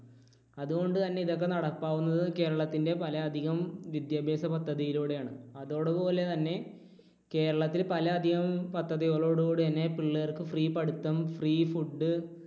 അതുകൊണ്ടുതന്നെ ഇതൊക്കെ നടപ്പാവുന്നത് കേരളത്തിൻറെ പല അധികം വിദ്യാഭ്യാസ പദ്ധതിയിലൂടെയാണ്. അതോടെ പോലെ തന്നെ കേരളത്തിൽ പല അധികം പദ്ധതികളോട് കൂടെ തന്നെ പിള്ളേർക്ക് free പഠിത്തം free food